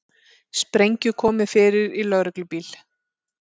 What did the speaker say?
Sprengju komið fyrir í lögreglubíl